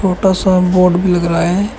छोटा सा बोर्ड भी लग रहा है।